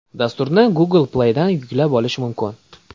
Dasturni Google Play’dan yuklab olish mumkin.